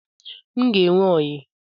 m ga enwe oyi